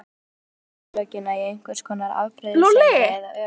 Oftast má finna orsökina í einhvers konar afbrýðisemi eða öfund.